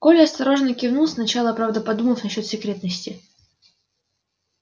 коля осторожно кивнул сначала правда подумав насчёт секретности